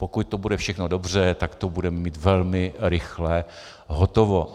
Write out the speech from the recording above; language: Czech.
Pokud to bude všechno dobře, tak to budeme mít velmi rychle hotovo.